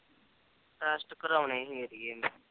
test ਕਰੋਣੇ